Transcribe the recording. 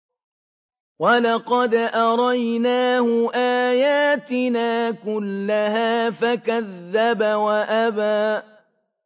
وَلَقَدْ أَرَيْنَاهُ آيَاتِنَا كُلَّهَا فَكَذَّبَ وَأَبَىٰ